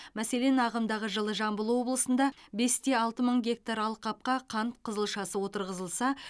мәселен ағымдағы жылы жамбыл облысында бес те алты мың гектар алқапқа қант қызылшасы отырғызылса